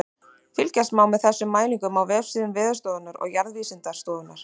Fylgjast má með þessum mælingum á vefsíðum Veðurstofunnar og Jarðvísindastofnunar.